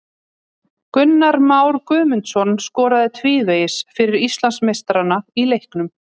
Gunnar Már Guðmundsson skoraði tvívegis fyrir Íslandsmeistarana í leiknum.